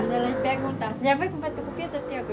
A senhora me perguntava se eu ia comprar tucupi ou tapioca